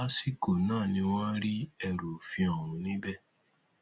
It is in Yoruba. lásìkò náà ni wọn rí ẹrù òfin ọhún níbẹ